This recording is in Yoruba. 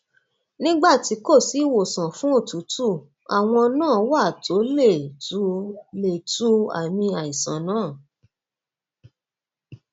nígbà tí kò sí ìwòsàn fún òtútù àwọn nǹan wà tó lè tu lè tu àmì àìsàn náà